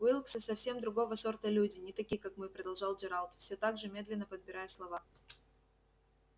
уилксы совсем другого сорта люди не такие как мы продолжал джералд всё так же медленно подбирая слова